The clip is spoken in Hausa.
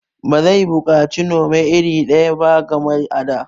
Ba zai buƙaci Nome iri daya ba kamar a da